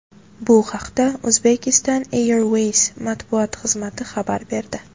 Bu haqda Uzbekistan Airways matbuot xizmati xabar berdi.